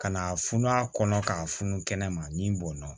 Ka na funu a kɔnɔ k'a funu kɛnɛma min bɔnna